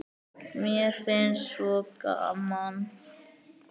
Mér finnst svo gaman!